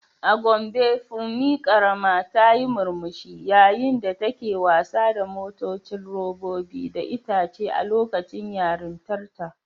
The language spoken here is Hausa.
A Gombe Funmi karama ta yi murmushi yayin da take wasa da motocin robobi da itace a lokacin yarintarta.